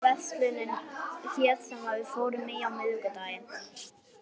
Kellý, manstu hvað verslunin hét sem við fórum í á miðvikudaginn?